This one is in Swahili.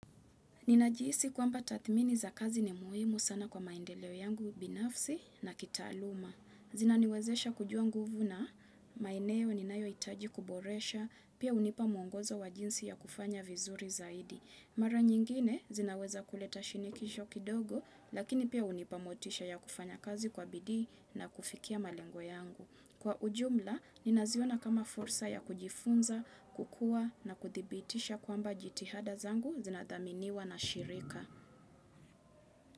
Ninajihisi kwamba tathmini za kazi ni muhimu sana kwa maendeleo yangu binafsi na kitaaluma. Zinaniwezesha kujua nguvu na maeneo ninayoitaji kuboresha, pia hunipa mwongozo wa jinsi ya kufanya vizuri zaidi. Mara nyingine zinaweza kuleta shinikisho kidogo, lakini pia hunipa motisha ya kufanya kazi kwa bidii na kufikia malengo yangu. Kwa ujumla, ninaziona kama fursa ya kujifunza, kukua na kuthibitisha kwamba jitihada zangu zinathaminiwa na shirika.